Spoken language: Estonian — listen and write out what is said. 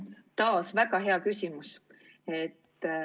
Taas väga hea küsimus.